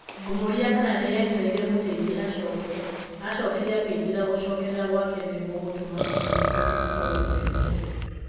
Ngĩmũũria kana nĩ etereire mũteithia acoke, aacokire akĩnjĩra atĩ "gũcokerera gwake nĩ gũgũtũma ũtũũro witũ ũkorũo ũrĩ mũhũthũ".